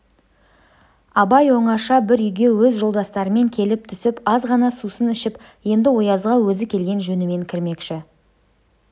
абай оңаша бір үйге өз жолдастарымен келіп түсіп аз ғана сусын ішіп енді оязға өзі келген жөнімен кірмекші